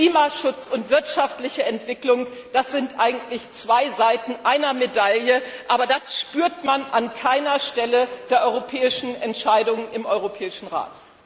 Klimaschutz und wirtschaftliche Entwicklung sind eigentlich zwei Seiten einer Medaille, aber das spürt man an keiner Stelle der europäischen Entscheidungen im Europäischen Rat.